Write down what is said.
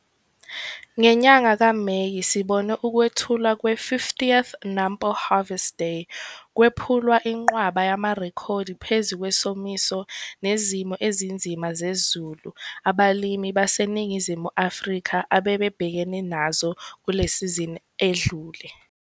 Ngenyanga kaMeyi sibone ukwethulwa kwe-50th NAMPO Harvest Day kwephulwa inqwaba yamarekhodi phezu kwesomiso nezimo ezinzima zezulu abalimi baseNingizimu Afrika abebebhekene nazo kule sizini edlule.